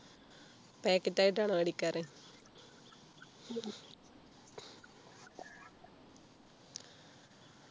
packet ആയിട്ടാണോ മേടിക്കാറ്